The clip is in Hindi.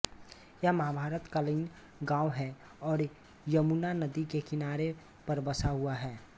यह महाभारत कालीन गाँव है और यमुना नदी के किनारे पर बसा हुआ है